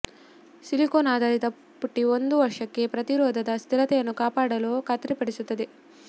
silicone ಆಧಾರಿತ ಪುಟ್ಟಿ ಒಂದು ವರ್ಷಕ್ಕೆ ಪ್ರತಿರೋಧದ ಸ್ಥಿರತೆಯನ್ನು ಕಾಪಾಡಲು ಖಾತರಿಪಡಿಸುತ್ತದೆ